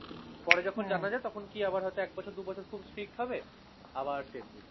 পরে যখন জানা যায় তখন কি আবার হয়ত এক বছর দু বছর খুব street হবে। আবার same জিনিস।